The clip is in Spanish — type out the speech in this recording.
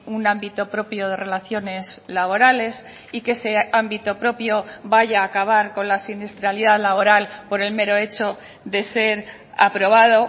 un ámbito propio de relaciones laborales y que ese ámbito propio vaya a acabar con la siniestralidad laboral por el mero hecho de ser aprobado